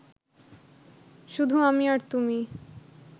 শুধু আমি আর তুমি